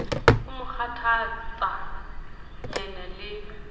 o mo kgathatsa nyene le